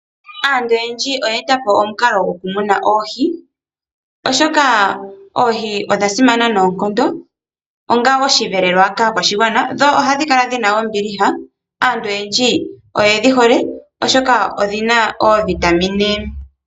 Aantu oyendji oya etapo omukalo goku muna oohi, oshoka oohi odha simana noonkondo onga omweelelo kaakwashigwana, dho ohadhi kala dhina ombiliha aantu oyendji oyedhi hole oshoka odhina oovitamine.